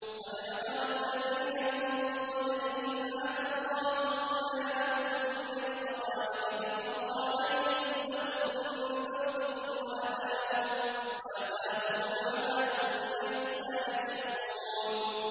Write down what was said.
قَدْ مَكَرَ الَّذِينَ مِن قَبْلِهِمْ فَأَتَى اللَّهُ بُنْيَانَهُم مِّنَ الْقَوَاعِدِ فَخَرَّ عَلَيْهِمُ السَّقْفُ مِن فَوْقِهِمْ وَأَتَاهُمُ الْعَذَابُ مِنْ حَيْثُ لَا يَشْعُرُونَ